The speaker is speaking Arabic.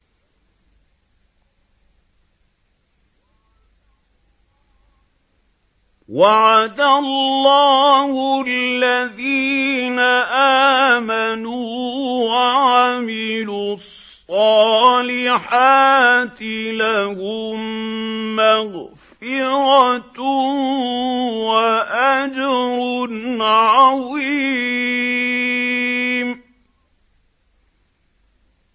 وَعَدَ اللَّهُ الَّذِينَ آمَنُوا وَعَمِلُوا الصَّالِحَاتِ ۙ لَهُم مَّغْفِرَةٌ وَأَجْرٌ عَظِيمٌ